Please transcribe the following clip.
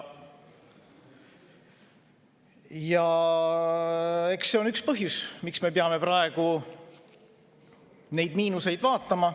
Eks see ole üks põhjusi, miks me peame praegu neid miinuseid vaatama.